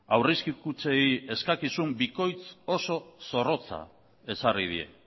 aurrezki kutxei eskakizun bikoitz oso zorrotza ezarri die